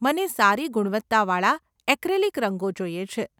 મને સારી ગુણવત્તાવાળા એક્રિલિક રંગો જોઈએ છે.